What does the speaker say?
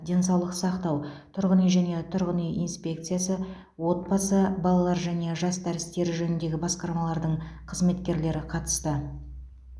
денсаулық сақтау тұрғын үй және тұрғын үй инспекциясы отбасы балалар және жастар істері жөніндегі басқармалардың қызметкерлері қатысты